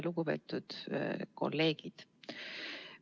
Lugupeetud kolleegid!